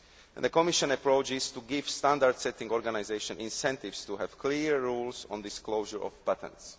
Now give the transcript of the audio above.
The Commission approach is to give standard setting organisations incentives to have clear rules on disclosure of patents.